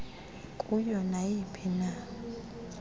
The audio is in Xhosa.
kuyo nayiphina i